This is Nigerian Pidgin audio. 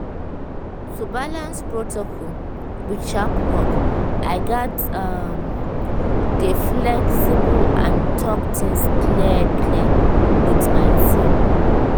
to balance protocol with sharp work i gats um dey flexible and talk things clear-clear with my team um